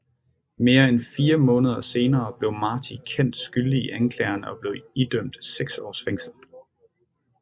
Mere end fire måneder senere blev Martí kendt skyldig i anklagerne og blev idømt seks års fængsel